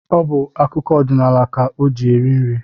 Ọ bụ akụkọ odinaala ka o ji eri nri